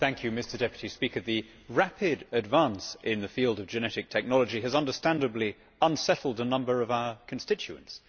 Mr President, the rapid advance in the field of genetic technology has understandably unsettled a number of our constituents.